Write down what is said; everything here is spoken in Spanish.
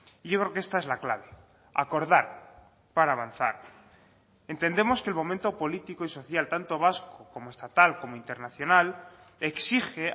y yo creo que esta es la clave acordar para avanzar entendemos que el momento político y social tanto vasco como estatal como internacional exige